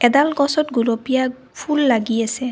এডাল গছত গুলপীয়া ফুল লাগি আছে।